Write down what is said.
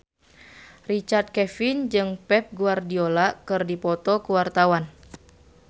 Richard Kevin jeung Pep Guardiola keur dipoto ku wartawan